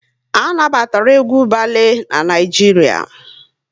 A na batara egwu balee n'Naijiria